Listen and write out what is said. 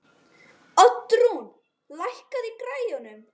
Oddrún, lækkaðu í græjunum.